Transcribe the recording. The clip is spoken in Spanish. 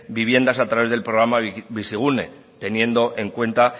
viviendas a través del programa bizigune teniendo en cuenta